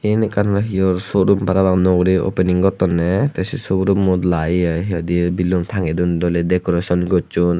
yen ekkan hiyor suo rum para pang nuo guri opening gottonney tey se sugoro mu lai ye hi hi hoidey belun tangedon doley decoreson gosson.